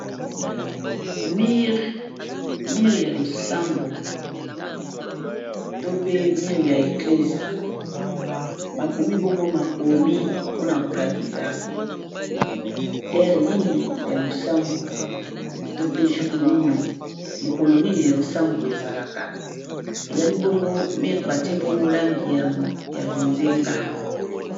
Mur ya losambo to pe mur ya eclesia makomi bongo makomi mpona kolakisa heure nini ya losambo to pe jour Nini mokolo Nini losambo ezalaka bongo mur batie langi ya bonzenga.